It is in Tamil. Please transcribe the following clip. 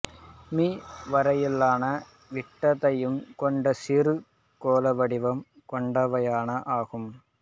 மீ வரையிலான விட்டத்தைக் கொண்ட சிறு கோள வடிவம் கொண்டவையாகும்